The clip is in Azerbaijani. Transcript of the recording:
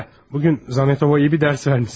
Hə, bu gün Zamyatova yaxşı bir dərs vermişsən.